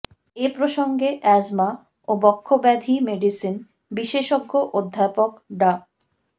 এ প্রসঙ্গে অ্যাজমা ও বক্ষ্যব্যাধি মেডিসিন বিশেষজ্ঞ অধ্যাপক ডা